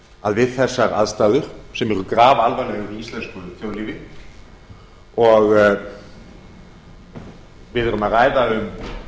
að við þessar aðstæður sem eru grafalvarlegar í íslensku þjóðlífi og við erum að ræða um